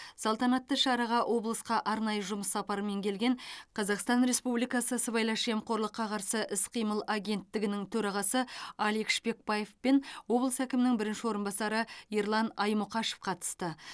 салтанатты шараға облысқа арнайы жұмыс сапарымен келген қазақстан республикасы сыбайлас жемқорлыққа қарсы іс қимыл агенттігінің төрағасы алик шпекбаев пен облыс әкімінің бірінші орынбасары ерлан аймұқашев қатысты